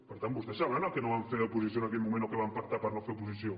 per tant vostès sabran el que no van fer d’oposició en aquell moment o què van pactar per no fer oposició